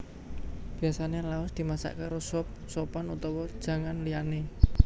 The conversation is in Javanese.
Biyasané laos dimasak karo sop sopan utawa janganan liyané